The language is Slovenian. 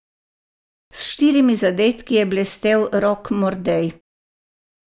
S štirimi zadetki je blestel Rok Mordej.